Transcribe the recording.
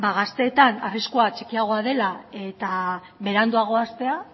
gazteetan arriskua txikiagoa dela eta beranduagoa hastea